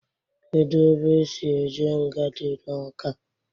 Kedụ ebe esi eje nga dị n'Ọka?